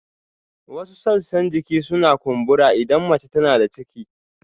Wasu sassan jiki suna kumbura idan mace tana da ciki